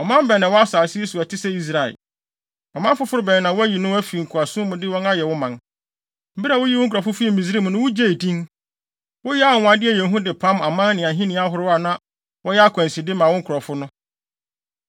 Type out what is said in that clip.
Ɔman bɛn na ɛwɔ asase yi so a ɛte sɛ Israel? Ɔman foforo bɛn na woayi no afi nkoasom mu de wɔn ayɛ wo man? Bere a wuyii wo nkurɔfo fii Misraim no, wugyee din. Woyɛɛ anwonwade a ɛyɛ hu de pam aman ne ahoni ahorow a na wɔyɛ akwanside ma wo nkurɔfo no.